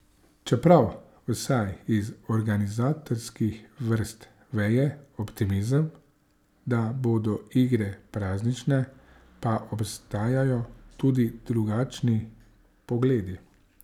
Čeprav vsaj iz organizatorskih vrst veje optimizem, da bodo igre praznične, pa obstajajo tudi drugačni pogledi.